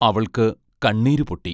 അവൾക്ക് കണ്ണീരുപൊട്ടി.